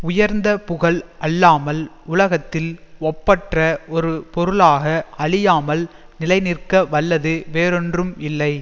உயர்ந்த புகழ் அல்லாமல் உலகத்தில் ஒப்பற்ற ஒரு பொருளாக அழியாமல் நிலைநிற்க வல்லது வேறொன்றும் இல்லை